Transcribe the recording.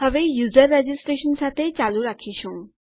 હવે user registration સાથે ચાલુ રાખીશું